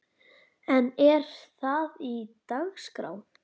En er það á dagskrá?